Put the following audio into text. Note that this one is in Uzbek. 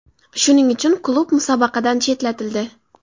Shuning uchun klub musobaqadan chetlatildi.